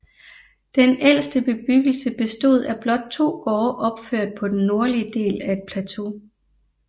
Den ældste bebyggelse bestod af blot to gårde opført på den nordlige del af et plateau